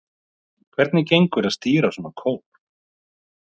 Hvernig gengur að stýra svona kór?